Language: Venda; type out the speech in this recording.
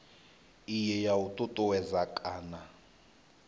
iyi ya u ṱuṱuwedza kana